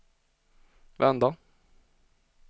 vända